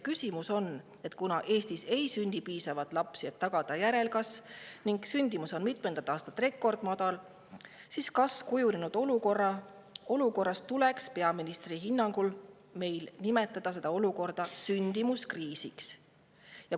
" Küsimus on: kuna Eestis ei sünni piisavalt lapsi, et tagada järelkasvu, ning sündimus on mitmendat aastat rekordmadal, siis kas kujunenud olukorras tuleks meil peaministri hinnangul seda olukorda nimetada sündimuskriisiks?